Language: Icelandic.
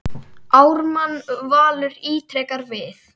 Ármann Valur ítrekar við